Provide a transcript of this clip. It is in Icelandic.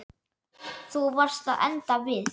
Þú varst að enda við.